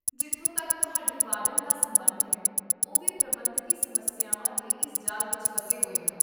ਜਿੱਥੋਂ ਤੱਕ ਤੁਹਾਡੇ ਵਾਰਡਨ ਦਾ ਸਬੰਧ ਹੈ, ਉਹ ਵੀ ਪ੍ਰਬੰਧਕੀ ਸਮੱਸਿਆਵਾਂ ਦੇ ਇਸ ਜਾਲ ਵਿੱਚ ਫਸੇ ਹੋਏ ਹਨ